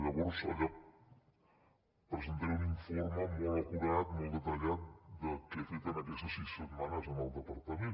llavors allà presentaré un informe molt acurat molt detallat de què he fet en aquestes sis setmanes en el departament